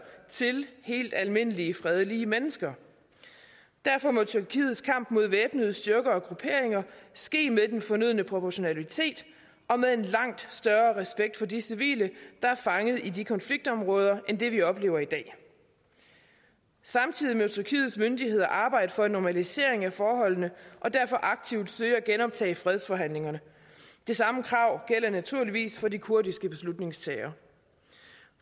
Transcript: til helt almindelige fredelige mennesker derfor må tyrkiets kamp mod væbnede styrker og grupperinger ske med den fornødne proportionalitet og med en langt større respekt for de civile der er fanget i de konfliktområder end det vi oplever i dag samtidig må tyrkiets myndigheder arbejde for en normalisering af forholdene og derfor aktivt søge at genoptage fredsforhandlingerne det samme krav gælder naturligvis for de kurdiske beslutningstagere